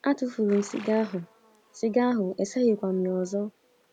Atụfuru m siga ahụ, siga ahụ, eseghikwa m ya ọzọ.